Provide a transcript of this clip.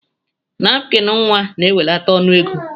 Napkin nwa na ewelata ọnụ ego.